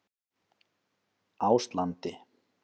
Áslandi